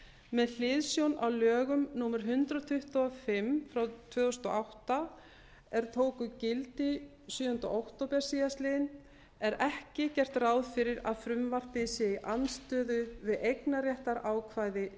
með hliðsjón af lögum númer hundrað tuttugu og fimm tvö þúsund og átta er tóku gildi sjöunda október síðastliðinn er ekki gert ráð fyrir að frumvarpið sé í andstöðu við eignarréttarákvæði